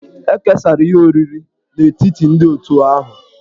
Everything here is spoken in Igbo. E kesara ihe oriri n'etiti ndị otù ahụ.